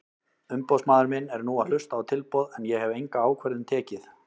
Umboðsmaður minn er nú að hlusta á tilboð en ég hef enga ákvörðun tekið.